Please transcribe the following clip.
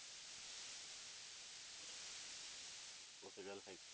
ਉਹ ਤੇ ਗੱਲ ਹੈ